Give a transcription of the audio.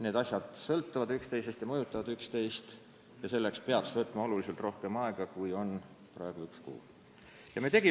Need asjad sõltuvad üksteisest ja mõjutavad üksteist ning nende arutamiseks peaks võtma oluliselt rohkem aega, kui on see üks aasta ja üks kuu, mis jääb järgmiste Riigikogu valimisteni.